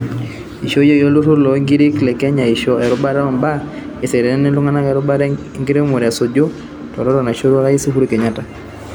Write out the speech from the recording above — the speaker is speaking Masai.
Ishooyoki olturur loo nkirik le Kenya aisho erubata o mbaa eseriani aitungua erubata enkiremore esuju utaroto naishorua orais Uhuru Kenyatta.